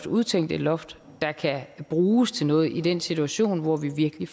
udtænkt et loft der kan bruges til noget i den situation hvor vi virkelig